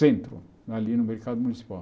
Centro, ali no mercado municipal.